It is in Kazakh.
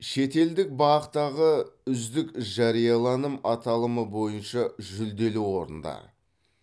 шетелдік бақ тағы үздік жарияланым аталымы бойынша жүлделі орындар